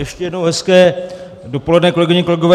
Ještě jednou hezké dopoledne, kolegyně, kolegové.